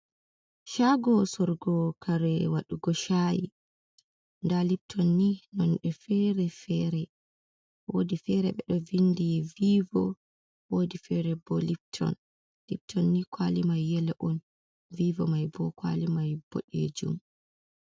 Shago sorugo kare waɗugo sha, i. Nda liptonni none fere fere, wodi fere ɓeɗo vindi vivo, wodi fere bo lipton liptonni kwali may yelo, on vivo may bo kwali may boɗejum.